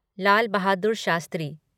Lal Bahadur Shastri